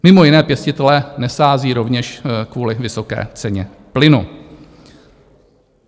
Mimo jiné pěstitelé nesází rovněž kvůli vysoké ceně plynu.